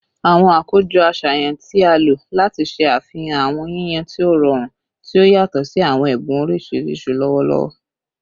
Awọn akojọ aṣayan ti a lo lati ṣe afihan awọn yiyan ti o rọrun, ti o yatọ si awọn ẹbun oriṣiriṣi lọwọlọwọ